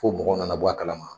Fo mɔgɔw na na bɔ a kalama.